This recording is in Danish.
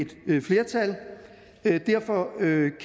et flertal derfor